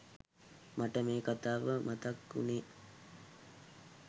මට මේ කතාව මතක් උනේ.